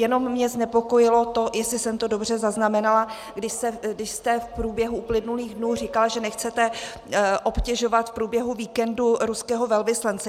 Jenom mě znepokojilo to, jestli jsem to dobře zaznamenala, když jste v průběhu uplynulých dnů říkal, že nechcete obtěžovat v průběhu víkendu ruského velvyslance.